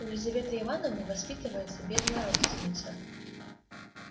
у лизаветы ивановны воспитывается бедная родственница